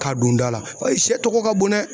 K'a don da la paseke sɛ tɔgɔ ka bon dɛ